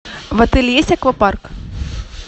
в отеле есть аквапарк